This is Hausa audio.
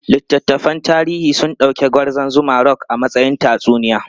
Littattafan tarihi sun dauki Gwarzon Zuma Rock a matsayin tatsuniya.